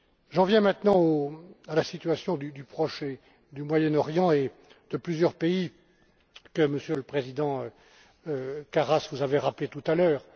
J'en viens maintenant à la situation du Proche et du Moyen Orient et de plusieurs pays que, Monsieur le président Karas, vous avez rappelée tout à l'heure.